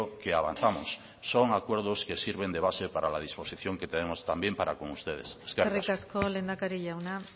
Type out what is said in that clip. que avanzamos son acuerdos que sirven de base para la disposición que tenemos también para con ustedes eskerrik asko eskerrik asko lehendakari jauna